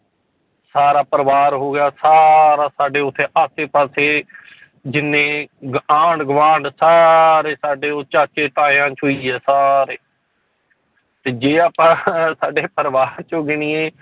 ਸਾਰਾ ਪਰਿਵਾਰ ਹੋ ਗਿਆ ਸਾਰਾ ਸਾਡੇ ਉੱਥੇ ਆਸੇ ਪਾਸੇ ਜਿੰਨੇ ਗ~ ਆਂਢ ਗੁਆਂਢ ਸਾਰੇ ਸਾਡੇ ਉਹ ਚਾਚੇ ਤਾਇਆਂ ਚੋਂ ਹੀ ਹੈ ਸਾਰੇ ਤੇ ਜੇ ਆਪਾਂ ਸਾਡੇ ਪਰਿਵਾਰ ਚੋਂ ਗਿਣੀਏ